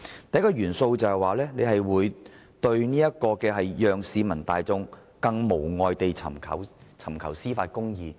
第一個因素，司長說會讓市民大眾更無礙地尋求司法公義。